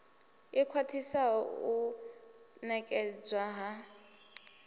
i khwaṱhisaho u ṋekedzwa ha